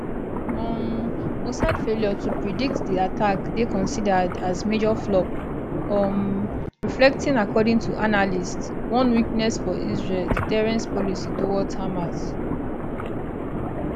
um mossad failure to predict di attack dey considered as major flop um reflecting according to analysts one weakness for israel deterrence policy towards hamas